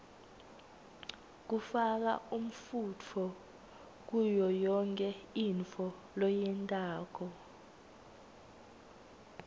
kufaka umfunto kuyoyonkhe intfo loyentako